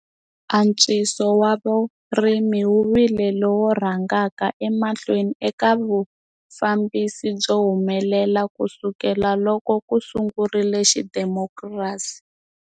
Antswiso wa vurimi wu vile lowu rhangaka emahlweni eka vufambisi byo humelela kusukela loko ku sungurile xidemokirasi.